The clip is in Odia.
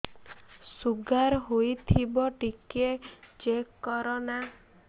ଶୁଗାର ହେଇଥିବ ଟିକେ ଚେକ କର ନା